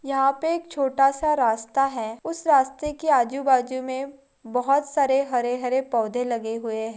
यहाँ पे एक छोटा सा रास्ता है उस रास्ते के आजू बाजू में बहुत सारे हरे हरे पोधे लगे हुए है।